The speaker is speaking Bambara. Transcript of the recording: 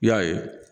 I y'a ye